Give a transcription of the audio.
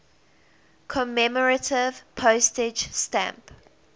commemorative postage stamp